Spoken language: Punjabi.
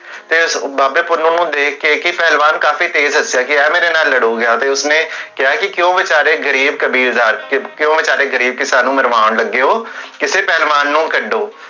ਤੇ ਬਾਬੇ ਪੁੰਨੁ ਨੂੰ ਦੇਖ ਕੀ, ਪਹਲਵਾਨ ਕਾਫੀ ਤੇਜ਼ ਹਸਿਆ ਕੀ ਯਾਰ, ਮੇਰੇ ਨਾਲ ਲੜੋ, ਤੇ ਉਸਨੇ ਕਿਹਾ ਕੀ ਕਿਓਂ ਵਿਚਾਰੇ ਗਰੀਬ ਕਿਸਾਨ ਨੂੰ ਮਰਵਾਓੰ ਲੱਗੇ ਹੋ, ਕੀ ਪਹਲਵਾਨ ਨੂੰ ਕਦ੍ਡੋ